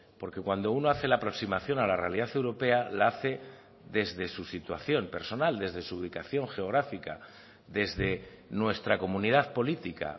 porque cuando uno hace la aproximación a la realidad europea la hace desde su situación personal desde su ubicación geográfica desde nuestra comunidad política